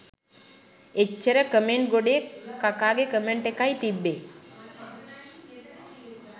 එච්චර කමෙන්ට් ගොඩේ කකාගෙ කමෙන්ට් එකයි තිබ්බෙ